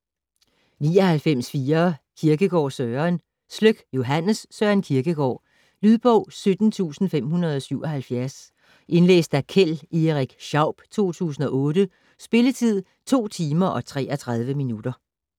99.4 Kierkegaard, Søren Sløk, Johannes: Søren Kierkegaard Lydbog 17577 Indlæst af Keld Erik Schaub, 2008. Spilletid: 2 timer, 33 minutter.